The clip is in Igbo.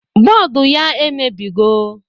Bọọdu ya emebigo